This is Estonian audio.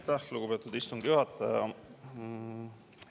Aitäh, lugupeetud istungi juhataja!